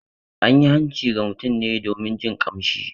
An yi hanci ga mutum ne domin jin kamshi.